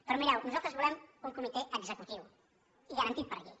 però mireu nosaltres volem un comitè executiu i garantit per llei